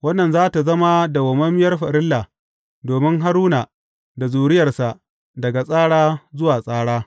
Wannan za tă zama dawwammamiyar farilla domin Haruna da zuriyarsa daga tsara zuwa tsara.